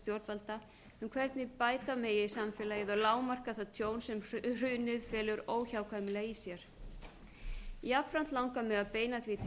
stjórnvalda um hvernig bæti megi samfélagið og lágmarka það tjón sem hrunið felur óhjákvæmilega í sér jafnframt langar mig að beina því til